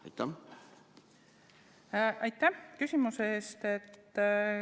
Aitäh küsimuse eest!